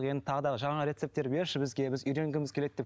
енді тағы да жаңа рецептер берші бізге біз үйренгіміз келеді деп